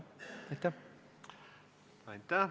Aitäh!